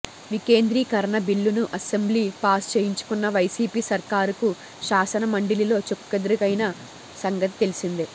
వికేంద్రీకరణ బిల్లును అసెంబ్లీలో పాస్ చేయించుకున్న వైసీపీ సర్కారుకు శాసనమండలిలో చుక్కెదురైన సంగతి తెలిసిందే